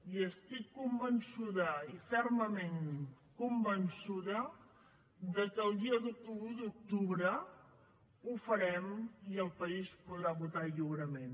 i estic convençuda i fermament conven çuda de que el dia un d’octubre ho farem i el país podrà votar lliurement